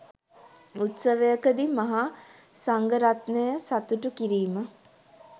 උත්සවයකදී මහා සංඝ රත්නය සතුටු කිරීම